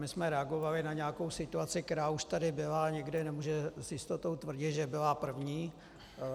My jsme reagovali na nějakou situaci, která už tady byla, a nikdy nemůžeme s jistotou tvrdit, že byla první.